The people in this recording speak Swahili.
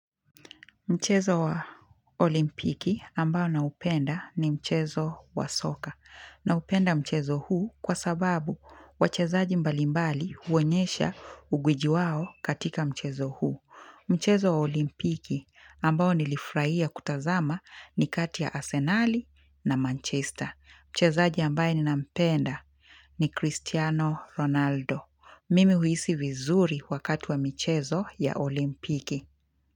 Mchezo wa olimpiki ambao naupenda ni mchezo wa soka. Naupenda mchezo huu kwa sababu wachezaji mbalimbali huonyesha ugwiji wao katika mchezo huu. Mchezo wa olimpiki ambao nilifurahia kutazama ni kati ya Asenali na Manchester. Mchezaji ambaye ninampenda ni Cristiano Ronaldo. Mimi huhisi vizuri wakati wa michezo ya olimpiki.